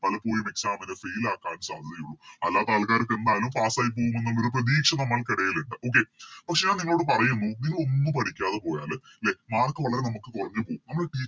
പലപ്പോഴും Exam ന് Fail ആക്കാൻ സാധ്യത ഉള്ളു അല്ലാത്ത ആൾക്കാർക്ക് എന്തായാലും Pass ആയി പോകുമെന്നുള്ളൊരു പ്രതീക്ഷ നമ്മൾക്കെടയില്ണ്ട് Okay പക്ഷെ ഞാൻ നിങ്ങളോട് പറയുന്നു നിങ്ങളൊന്നും പഠിക്കാതെ പോയാല് ലെ Mark വളരെ നമുക്ക് കൊറഞ്ഞ് പോകും നമ്മള്